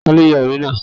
Ta ló ya ère náà?